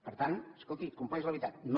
per tant escolti ho compleix de veritat no